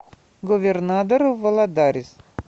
говернадор валадарис